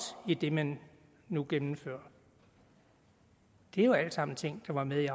i det man nu gennemfører er jo alle sammen ting der var med i